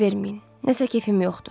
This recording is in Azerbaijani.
fikir verməyin, nəsə kefim yoxdur.